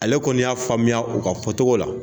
Ale kɔni y'a faamuya u ka fɔ cogo la.